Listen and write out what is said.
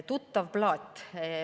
Tuttav plaat.